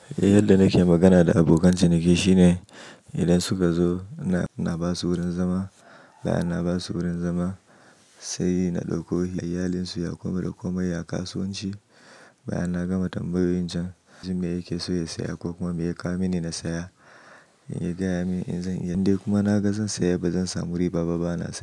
Eh yadda nake magana da abokan ciniki shine idan suka zo na ba su wurin zama, ba'a na ba su wurin zama sai na dauko iyalin su ya koma da komai a kasuwanci. Bayan na gama tambiyoyi can, in ji mai yake so ya saya kukuma mai ya kawo mini na saya, ya gaya min in zan iya, in dai kuma na gan zan siya ba zan samu riba ba bana so.